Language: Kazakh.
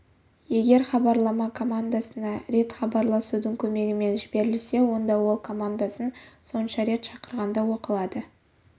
егер хабарлама командасына рет хабарласудың көмегімен жіберілсе онда ол командасын сонша рет шақырғанда оқылады